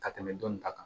Ka tɛmɛ dɔni ta kan